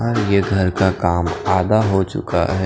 ये घर का काम आधा हो चुका हैं।